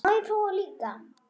Má ég prófa líka!